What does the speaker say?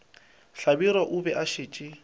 hlabirwa o be a šetše